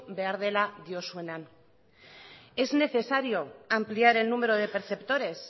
behar dela diozuenean es necesario ampliar el número de perceptores